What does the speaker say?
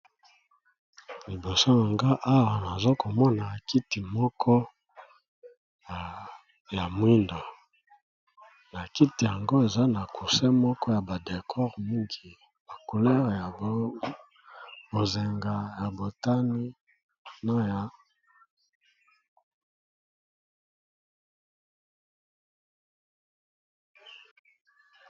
Liboso na nga awa nazakomona kiti moko ya moyindo eza na cousin ya ba decor mingi couleur ya bozenga, motane...